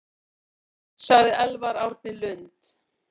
Sagði Elvar Árni Lund.